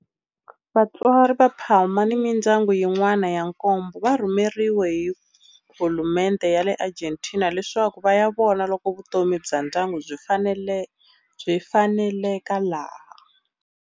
Vatswari va Palma ni mindyangu yin'wana ya nkombo va rhumeriwe hi hulumendhe ya le Argentina leswaku va ya vona loko vutomi bya ndyangu byi faneleka laha.